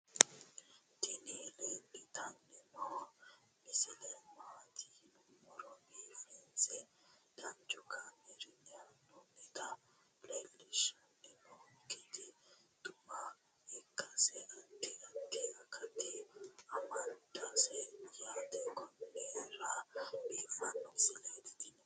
tini leeltanni noo misile maaati yiniro biifinse danchu kaamerinni haa'noonnita leellishshanni nonketi xuma ikkase addi addi akata amadaseeti yaate konnira biiffanno misileeti tini